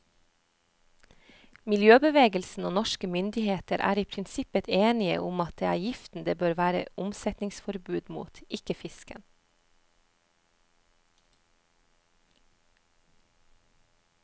Miljøbevegelsen og norske myndigheter er i prinsippet enige om at det er giften det bør være omsetningsforbud mot, ikke fisken.